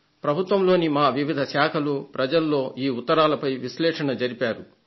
ప్రభుత్వంలోని మా వివిధ శాఖలు ఈ ఉత్తరాలపై విశ్లేషణ జరిపాయి